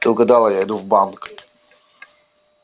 ты угадала я иду в банк